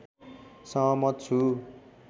सहमत छु